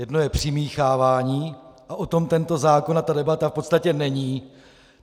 Jedno je přimíchávání a o tom tento zákon a ta debata v podstatě není.